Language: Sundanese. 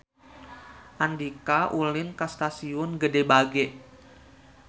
Andika ulin ka Stasiun Gede Bage